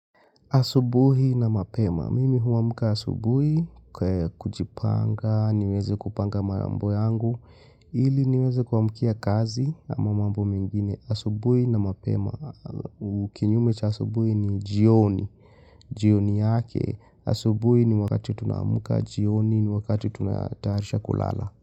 Asubuhi na mapema, mimi huamka asubuhi, kujipanga, niweze kupanga mambo yangu, ili niweze kuamkia kazi ama mambo mengine. Asubuhi na mapema, kinyume cha asubuhi ni jioni, jioni yake, asubuhi ni wakati tunaamka jioni ni wakati tunatarisha kulala.